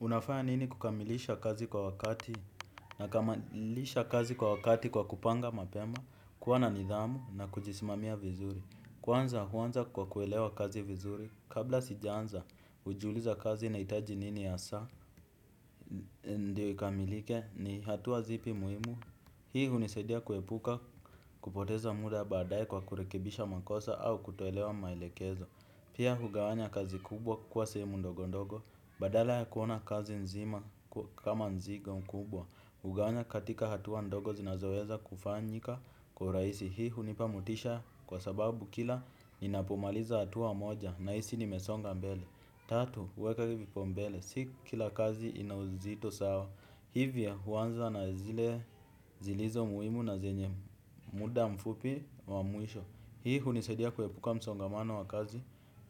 Unafanya nini kukamilisha kazi kwa wakati nakamilisha kazi kwa wakati kwa kupanga mapema kuwa na nidhamu na kujisimamia vizuri. Kwanza huanza kwa kuelewa kazi vizuri. Kabla sijaanza hujiuliza kazi inahitaji nini hasaa ndio ikamilike ni hatua zipi muhimu. Hii hunisadia kuepuka kupoteza muda badae kwa kurekebisha makosa au kutoelewa maelekezo. Pia hugawanya kazi kubwa kuwa sehemu ndogo ndogo badala ya kuona kazi nzima kama mzigo mkubwa hugawanya katika hatua ndogo zinazoweza kufanyika kwa urahisi hii hunipa motisha kwa sababu kila ninapomaliza hatua moja nahisi nimesonga mbele tatu weka vipao mbele si kila kazi ina uzito sawa. Hivyo huanza na zile zilizo muhimu na zenye muda mfupi wa mwisho hii hunisadia kuepuka msongamano wa kazi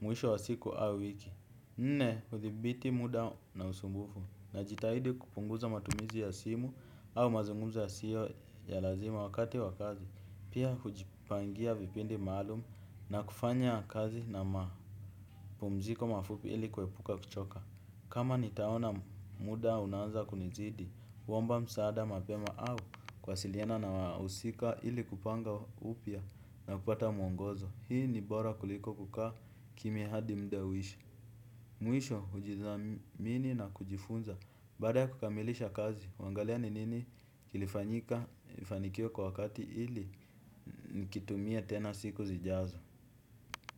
mwisho wa siku au wiki. Nne hudhibiti muda na usumbufu najitahidi kupunguza matumizi ya simu. Au mazungumzo yasiyo ya lazima wakati wa kazi pia hujipangia vipindi maalum. Na kufanya kazi na mapumziko mafupi ili kuepuka kuchoka. Kama nitaona muda unanza kunizidi huomba msaada mapema au kuwasiliana na wahusika ili kupanga upya na kupata mwongozo hii ni bora kuliko kukaa kimya hadi muda uishe. Mwisho hujidhamini na kujifunza baada ya kukamilisha kazi huangalia ni nini kilifanyika nifanikiwe kwa wakati ili nikitumie tena siku zijazo.